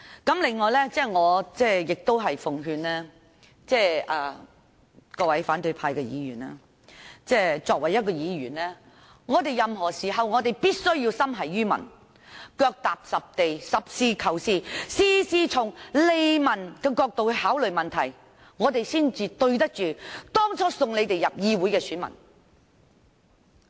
此外，我奉勸各位反對派議員，作為議員，任何時候必須心繫於民，腳踏實地，實事求是，事事從利民角度考慮，這樣才對得起當初選他們進入議會的選民。